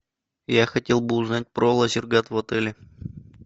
я хотел бы узнать про лазертаг в отеле